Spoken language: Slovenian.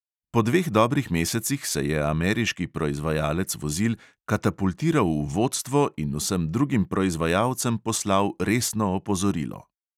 Po dveh dobrih mesecih se je ameriški proizvajalec vozil katapultiral v vodstvo in vsem drugim proizvajalcem poslal resno opozorilo.